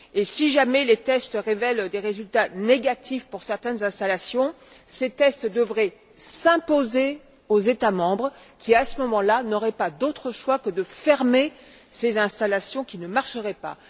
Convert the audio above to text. Si jamais les tests révèlent des résultats négatifs pour certaines installations, ces tests devraient s'imposer aux États membres qui, à ce moment là, n'auraient pas d'autre choix que de fermer ces installations qui ne marcheraient pas.